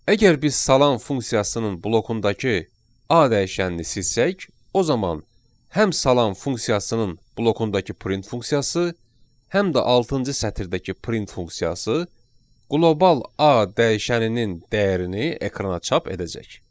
Əgər biz salam funksiyasının blokundakı A dəyişənini silsək, o zaman həm salam funksiyasının blokundakı print funksiyası, həm də altıncı sətirdəki print funksiyası qlobal A dəyişəninin dəyərini ekrana çap edəcək.